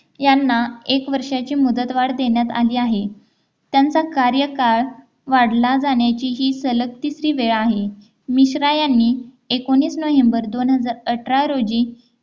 यांना एक वर्षाची मुदतवाढ देण्यात आली आहे त्यांचा कार्यकाळ वाढला जाण्याची ही सलग तिसरी वेळ आहे मिश्रा यांनी एकोणीस नोव्हेंबर दोन हजार अठरा रोजी